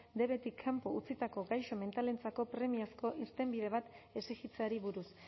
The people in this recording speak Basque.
dbetik kanpo utzitako gaixo mentalentzako premiazko irtenbide bat exigitzeari buruz